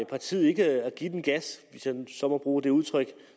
partiet ikke at give den gas hvis jeg så må bruge det udtryk